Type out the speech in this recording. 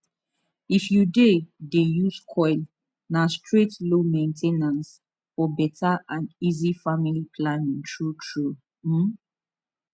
if you dey dey use coil na straight low main ten ance for better and easy family planning true trueum